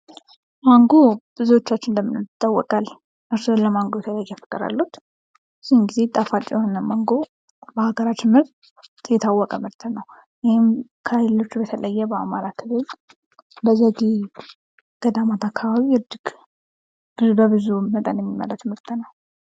ማንጎ ብዙወቻችን እንደምንወድ ይታወቃል እርስዎ ለማንጎ የተለየ ፍቅር አለዎት? ብዙውን ጊዜ ጣፋጭ የሆነ ማንጎ በሀገራችን ላይ የታወቀ ምርት ነው። ይህም ከሌሎቹ በተለየ በአማራ ክልል በዳማት አካባቢ እጅግ በብዙ መጠን የሚመረት ምርት ነው።